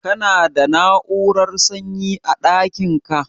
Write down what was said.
Ka na da na'urar sanyi a ɗakin ka?